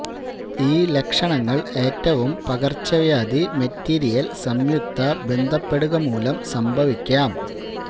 ഈ ലക്ഷണങ്ങൾ ഏറ്റവും പകർച്ചവ്യാധി മെറ്റീരിയൽ സംയുക്ത ബന്ധപ്പെടുക മൂലം സംഭവിക്കാം